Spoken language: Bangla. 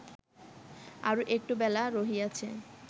আরও একটু বেলা রহিয়াছে